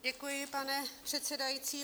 Děkuji, pane předsedající.